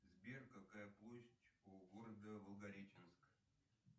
сбер какая площадь у города волгореченск